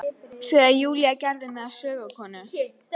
Þegar Júlía gerði mig að sögukonu.